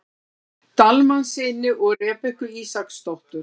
Dalmannssyni og Rebekku Ísaksdóttur.